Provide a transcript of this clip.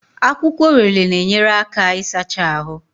Akwụkwọ Orele na-enyere aka isachaa ahụ.